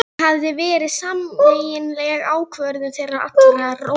Það hafði verið sameiginleg ákvörðun þeirra allra- Lóu